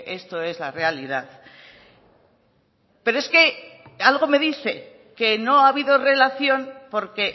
esto es la realidad pero es que algo me dice que no ha habido relación porque